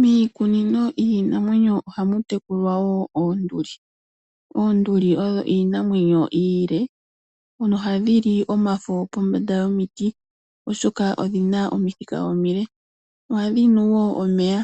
Miikunino yiinamwenyo ohamu tekulwa wo oonduli. Oonduli odho iinamwenyo iile. Ohadhi li omafo pombanda yomiti, oshoka odhi na omithika omile. Ohadhi nu omeya.